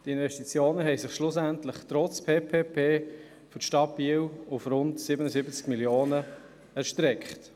Die Investitionen für die Stadt Biel betrugen schliesslich trotz PPP-Projekt rund 77 Mio. Franken.